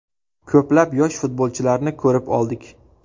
Ko‘plab yosh futbolchilarni ko‘rib oldik.